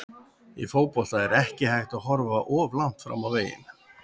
Í fótbolta er ekki hægt að horfa of langt fram á veginn.